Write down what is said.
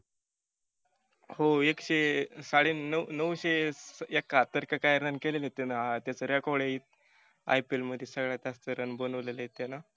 हो एकशे साडे नऊ नऊशे एकाहत्तर की काय run केलेले आहेत त्यानं. त्याच record आहे. IPL मधी सगळ्यात जास्त run बनवलेले आहेत त्यानं.